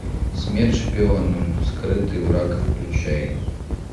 смерть шпионам скрытый враг включай